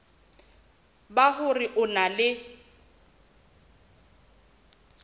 ba hore o na le